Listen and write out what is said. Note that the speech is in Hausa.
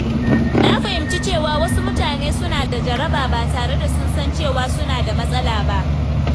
Na fahimci cewa wasu mutane suna da jaraba ba tare da sun san cewa suna da matsala ba.